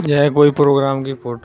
यह कोई प्रोग्राम की फोटो है।